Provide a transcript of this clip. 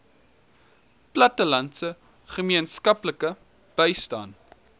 plattelandse gemeenskappe bystaan